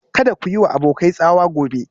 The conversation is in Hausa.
Kada ku yi wa abokai tsawa gobe